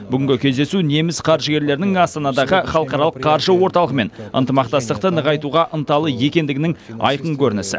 бүгінгі кездесу неміс қаржыгерлерінің астана халықаралық қаржы орталығымен ынтымақтастықты нығайтуға ынталы екендігінің айқын көрінісі